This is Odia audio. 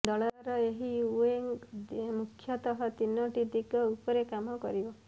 ଦଳର ଏହି ୱିଙ୍ଗ ମୁଖ୍ୟତଃ ତିନୋଟି ଦିଗ ଉପରେ କାମ କରିବ